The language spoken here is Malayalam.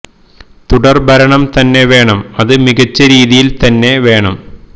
തുടര് ഭരണം തന്നെ വേണം അത് മികച്ച രീതിയില് തന്നെ വേണം